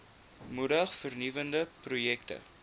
moedig vernuwende projekte